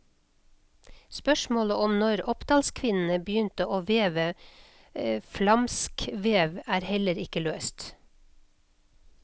Spørsmålet om når oppdalskvinnene begynte å veve flamskvev, er heller ikke løst.